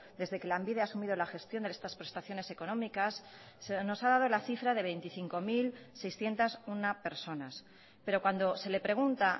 desde que lanbide ha asumido la gestión en estas prestaciones económicas se nos ha dado la cifra de veinticinco mil seiscientos uno personas pero cuando se le pregunta